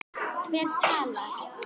Hver talar?